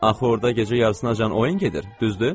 Axı orda gecə yarısınacan oyun gedir, düzdü?